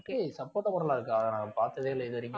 சப்போட்டா மரம் எல்லாம் இருக்கா அத நான் பாத்ததே இல்ல இதுவரைக்கும்